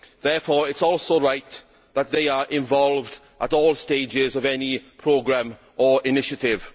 Therefore, it is also right that they are involved at all stages of any programme or initiative.